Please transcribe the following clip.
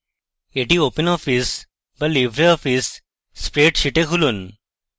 এটি open office বা libreoffice spreadsheet এ খুলুন